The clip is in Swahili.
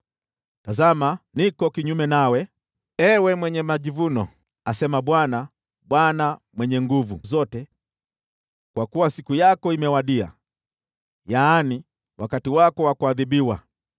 “Tazama, niko kinyume nawe, ewe mwenye majivuno,” asema Bwana, Bwana Mwenye Nguvu Zote, “kwa kuwa siku yako imewadia, yaani, wakati wako wa kuadhibiwa.